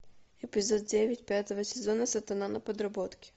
эпизод девять пятого сезона сатана на подработке